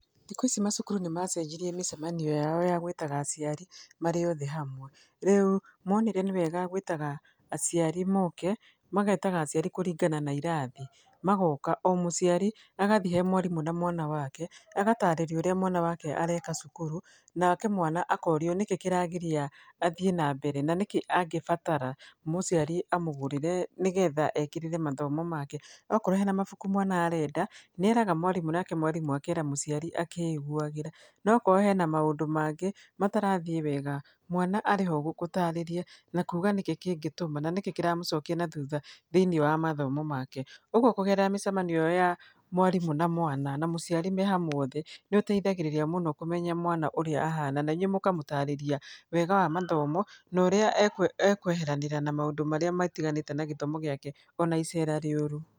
Thikũ ici macukuru nĩ macenjirie mĩcemanio yao ya gwĩtaga aciari marĩ othe hamwe. Rĩu, monire nĩ wega gwĩtaga aciari moke, magetaga aciari kũringana na irathi. Magoka, o mũciari, agathi he mwarimũ na mwana wake, agatarĩrio ũrĩa mwana wake areka cukuru, nake mwana akorwo nĩkĩ kĩragiria athiĩ na mbere, na nĩkĩ angĩbatara mũciari amũgũrĩre nĩgetha ekĩrĩre mathomo make. Okorwo hena mabuku mwana arenda, nĩ eraga mwarimũ nake mwarimũ akera mũciari akĩiguagĩra. Na akorwo hena maũndũ mangĩ matarathiĩ wega, mwana arĩho gũgũtarĩria na kuuga nĩkĩ kĩngĩtũma, na nĩkĩ kĩramũcokia na thutha thĩiniĩ wa mathomo make. Ũguo kũgerera mĩcemanio ĩyo ya mwarimũ na mwana na mũciari me hamwe othe, nĩ ũteithagĩrĩra mũno kũmenya mwana ũrĩa ahana, na inyuĩ mũkamũtarĩria wega wa mathomo, na ũrĩa ekweheranĩra na mũndũ matiganĩte na gĩthomo gĩake, ona icera rĩũru.